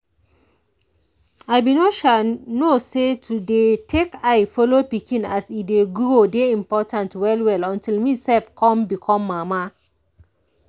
i be no sha know say to dey take eye follow pikin as e dey grow dey important well well until me self come become mama.